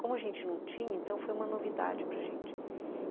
Como a gente não tinha, então foi uma novidade para gente, uhum.